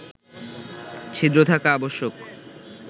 ছিদ্র থাকা আবশ্যক